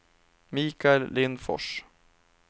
Mikael Lindfors